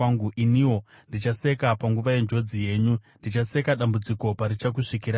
iniwo ndichaseka panguva yenjodzi yenyu; ndichaseka dambudziko parichakusvikirai,